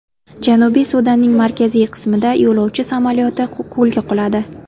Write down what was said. Janubiy Sudanning markaziy qismida yo‘lovchi samolyoti ko‘lga quladi.